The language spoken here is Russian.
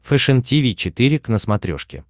фэшен тиви четыре к на смотрешке